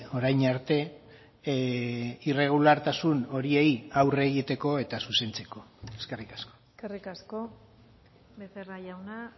orain arte irregulartasun horiei aurre egiteko eta zuzentzeko eskerrik asko eskerrik asko becerra jauna